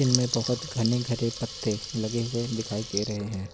इनमें बहोत घने घने पत्ते लगे हुए दिखाई दे रहे हैं।